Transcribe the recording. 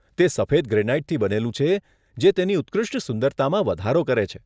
તે સફેદ ગ્રેનાઈટથી બનેલું છે જે તેની ઉત્કૃષ્ટ સુંદરતામાં વધારો કરે છે.